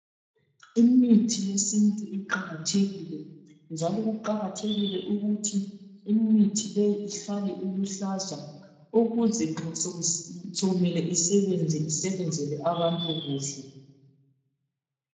Imithi yesintu iqakathekile njalo kuqakathekile ukuthi imithi le ihlale iluhlaza ukuze nxa sokumele isebenze isebenzele abantu kuhle.